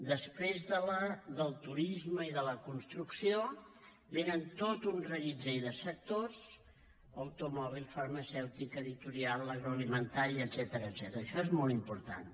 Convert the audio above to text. després del turisme i de la construcció venen tot un reguitzell de sectors automòbil farmacèutica editorial l’agroalimentari etcètera això és molt important